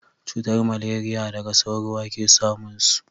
cutar maleriya daga sauro a ke samun su